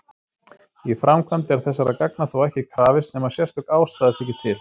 Í framkvæmd er þessara gagna þó ekki krafist nema sérstök ástæða þyki til.